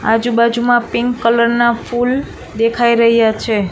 આજુબાજુમાં pink colour ના ફૂલ દેખાઈ રહ્યા છે.